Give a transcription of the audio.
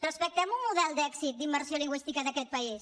respectem un model d’èxit d’immersió lingüística d’aquest país